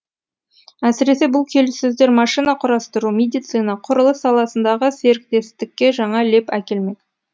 әсіресе бұл келіссөздер машина құрастыру медицина құрылыс саласындағы серіктестікке жаңа леп әкелмек